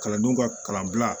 Kalandenw ka kalanbila